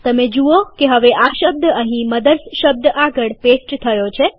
તમે જુઓ કે હવે આ શબ્દ અહીં મધર્સ શબ્દ આગળ પેસ્ટ થયો છે